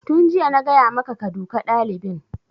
Tun jiya na gaya maka ka duka ɗalibin!